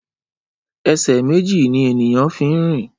Ẹsẹ méjì ni ènìyàn fín rìn